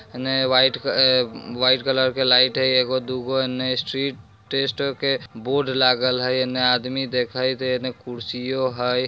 इन्ने व्‍हाइट आ white colour के लाइट है एगो-दूगो इन्ने स्ट्रीट टेस्टर के बोर्ड लागल है इन्ने आदमी दिखाई देने इन्ने कुर्सीयो है।